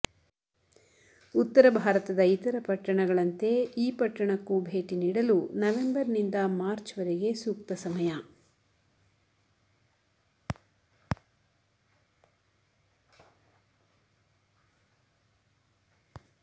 ಉತ್ತರ ಭಾರತದ ಇತರ ಪಟ್ಟಣಗಳಂತೆ ಈ ಪಟ್ಟಣಕ್ಕೂ ಭೇಟಿ ನೀಡಲು ನವೆಂಬರ್ ನಿಂದ ಮಾರ್ಚ್ ವರೆಗೆ ಸೂಕ್ತ ಸಮಯ